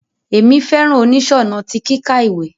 Emi fẹràn oniṣọnà ti kíkà ìwé.